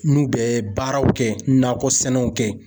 N'u bɛ baaraw kɛ nakɔsɛnɛw kɛ.